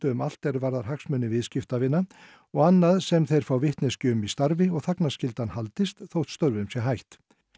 um allt er varðar hagsmuni viðskiptavina og annað sem þeir fá vitneskju um í starfi og þagnarskyldan haldist þótt störfum sé hætt